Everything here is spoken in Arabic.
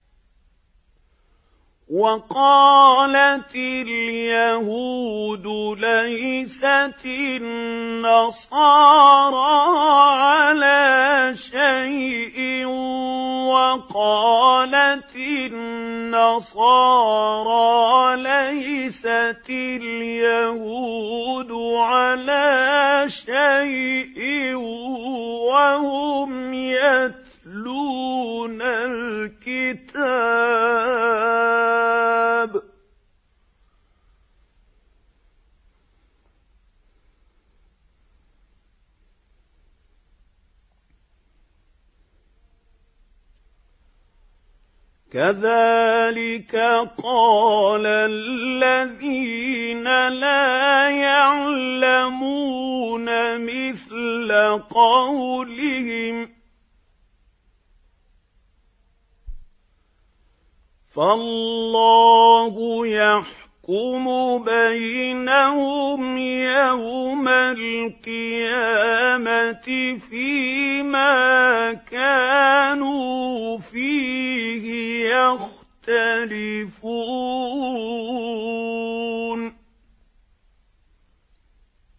وَقَالَتِ الْيَهُودُ لَيْسَتِ النَّصَارَىٰ عَلَىٰ شَيْءٍ وَقَالَتِ النَّصَارَىٰ لَيْسَتِ الْيَهُودُ عَلَىٰ شَيْءٍ وَهُمْ يَتْلُونَ الْكِتَابَ ۗ كَذَٰلِكَ قَالَ الَّذِينَ لَا يَعْلَمُونَ مِثْلَ قَوْلِهِمْ ۚ فَاللَّهُ يَحْكُمُ بَيْنَهُمْ يَوْمَ الْقِيَامَةِ فِيمَا كَانُوا فِيهِ يَخْتَلِفُونَ